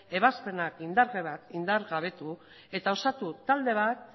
ebazpenak indargabetu eta osatu